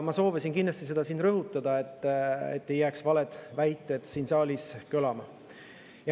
Ma soovin seda kindlasti rõhutada, et ei jääks valed väited siin saalis kõlama.